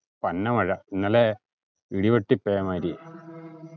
പന്ന മഴ ഇന്നലെ ഇടിവെട്ടിപെമാരിയായി